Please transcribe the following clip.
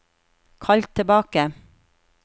kall tilbake